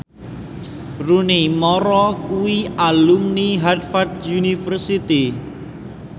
Rooney Mara kuwi alumni Harvard university